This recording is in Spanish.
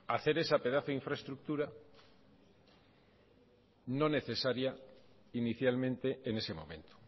hacer esa pedazo infraestructura no necesaria inicialmente en ese momento